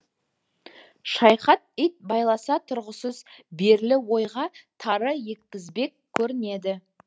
шайхат ит байласа тұрғысыз ойға тары еккізбек көрінеді